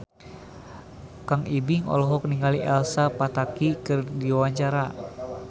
Kang Ibing olohok ningali Elsa Pataky keur diwawancara